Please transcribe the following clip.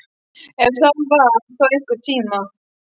Ef það var þá einhvern tíma.